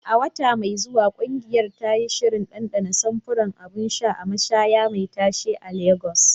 A wata mai zuwa, ƙungiyar ta yi shirin ɗanɗana samfuran abun sha a mashayar me tashe a lagos